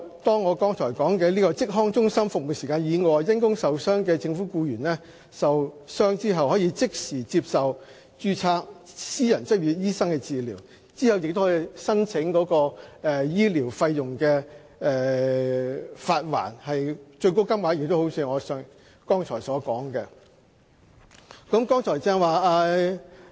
在我剛才提到的職康中心的服務時間以外，因公受傷的政府僱員，可即時向註冊私人執業醫生求診，之後亦可以申請發還醫療費用，最高款額一如我剛才所述。